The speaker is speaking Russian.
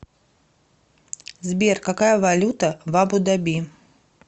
сбер какая валюта в абу даби